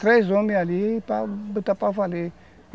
Três homens ali para botar para valer.